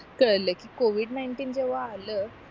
काळाला कि covid nineteen जेव्हा आल